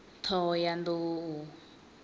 ṱhohoyanḓou